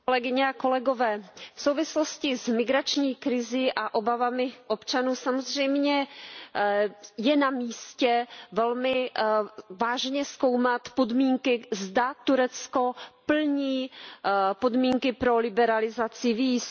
Kolegyně a kolegové, v souvislosti s migrační krizí a obavami občanů je samozřejmě na místě velmi vážně zkoumat podmínky, zda Turecko plní podmínky pro liberalizaci víz.